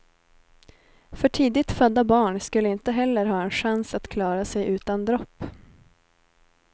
För tidigt födda barn skulle inte heller ha en chans att klara sig utan dropp.